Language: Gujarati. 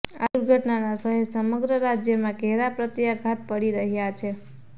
આ દુર્ઘટનાના શહેર સમગ્ર રાજ્યમાં ઘેરા પ્રત્યાઘાત પડી રહ્યા છે